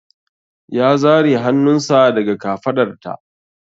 Ya zare hannunsa daga kafaɗarta.